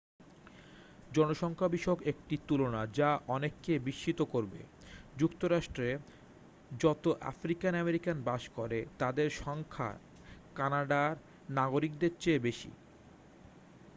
জনসংখ্যা বিষয়ক একটি তুলনা যা অনেককে বিস্মিত করবে যুক্তরাষ্টে যত আফ্রিকান আমেরিকান বাস করে তাদের সংখ্যা ক্যানাডার নাগরিকদের চেয়ে বেশী